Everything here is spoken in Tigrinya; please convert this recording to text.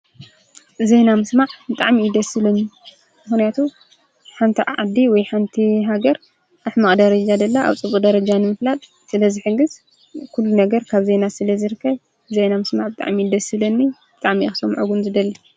ዜና ምስማዕ ብጣዕሚ እዩ ደስ ዝብለኒ፡፡ ምኽንያቱ ሓንቲ ዓዲ ወይ ሓንቲ ሃገር ኣብ ሕማቕ ደረጃ ደላ ኣብ ፅቡቕ ደረጃ ንምፍላጥ ስለዝሕግዝ ኩሉ ነገር ካብ ዜና ስለዝርከብ ዜና ምስማዕ ብጣዕሚ እዩ ደስ ዝብለኒ ብጣዕሚ እየ ክሰምዖ ውን ዝደሊ፡፡